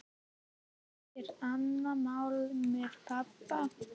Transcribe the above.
Það er annað mál með pabba.